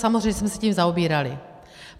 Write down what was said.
Samozřejmě jsme se tím zaobírali.